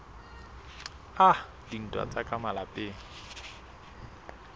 a dintwa tsa ka malapeng